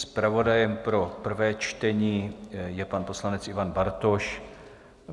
Zpravodajem pro prvé čtení je pan poslanec Ivan Bartoš.